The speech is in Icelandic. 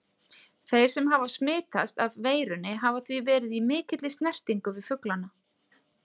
Þeir sem hafa smitast af veirunni hafa því verið í mikilli snertingu við fuglana.